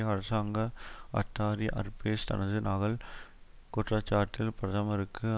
அரசாங்க அட்டார்ரி அர்பெஸ் தனது நகல் குற்றச்சாட்டில் பிரதமருக்கு